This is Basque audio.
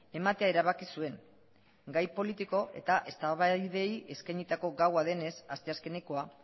ematea erabaki zuen gai politiko eta eztabaidei eskainitako gaua denez asteazkenekoa